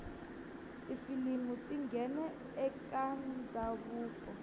tifilimu tingena ekatandzavuko